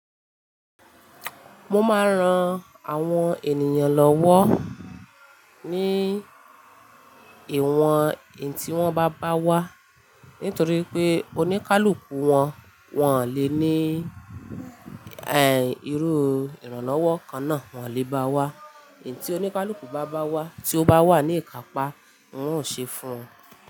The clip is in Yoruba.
Mo máa ń ran àwọn ènìyàn lọ́wọ́ ní ìwọ̀n iyi tí wọ́n bá bá wa, nítorí pé oníkálukú wọn, wọn ò lè ní, eh, irú ìrànlọ́wọ́ kan náà, wọn ò lè bá wa. Ì tí oníkálukú bá bá wa, tí ó bá wà ní ìkápá, ń ò ṣe fun won.